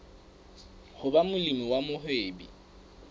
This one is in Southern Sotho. ho ba molemi wa mohwebi